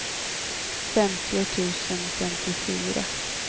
femtio tusen femtiofyra